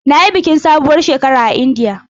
Na yi bikin sabuwar shekara a Indiya.